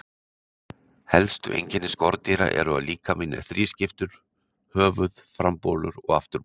Helstu einkenni skordýra eru að líkaminn er þrískiptur: höfuð, frambolur og afturbolur.